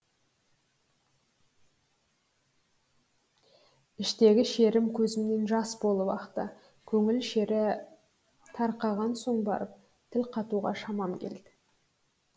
іштегі шерім көзімнен жас болып ақты көңіл шері тарқаған соң барып тіл қатуға шамам келді